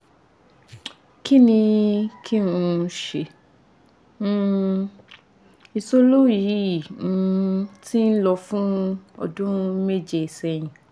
kini kin um se? um isolo yi um ti lo fun odun meje sehin